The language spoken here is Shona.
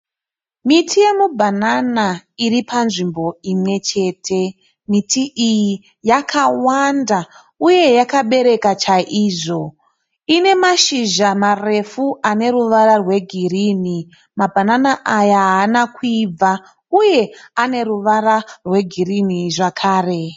Miti yemibhanana iri panzvimbo imwe chete. Miti iyi yakawanda uye yakabereka chaizvo. Ine mashizha marefu ane ruvara rwegirini. Mabhanana aya haana kuibva uye ane ruvara rwegirini zvekare.